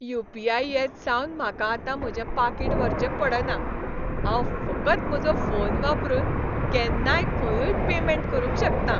You. P. I. येतसावन म्हाका आतां म्हजें पाकीट व्हरचें पडना. हांव फकत म्हजो फोन वापरून केन्नाय खंयूय पेमॅन्ट करूंक शकतां.